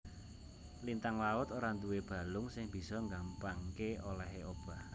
Lintang laut ora nduwé balung sing bisa nggampangké olèhé obah